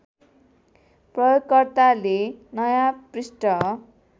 प्रयोगकर्ताले नयाँ पृष्ठ